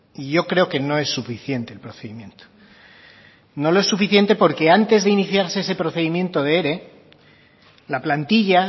y yo creo que no es suficiente el procedimiento no lo es suficiente porque antes de iniciarse ese procedimiento de ere la plantilla